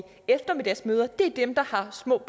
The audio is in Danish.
eftermiddagsmøder er dem der har små